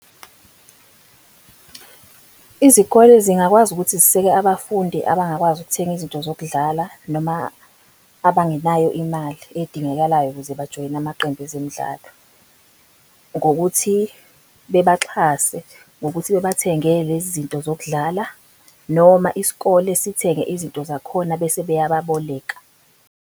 Izikole zingakwazi ukuthi ziseke abafundi abangakwazi ukuthenga izinto zokudlala, noma abangenayo imali edingekalayo ukuze bajoyine amaqembu ezemidlalo. Ngokuthi bebaxhase, ngokuthi bebathengele lezi zinto zokudlala, noma isikole sithenge izinto zakhona bese beyababoleka.